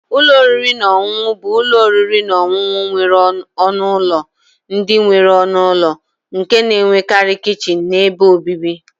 - Ụlọ oriri na ọṅụṅụ bụ ụlọ oriri na ọṅụṅụ nwere ọnụ ụlọ ndị nwere ụlọ nke na-enwekarị kichin na ebe obibi.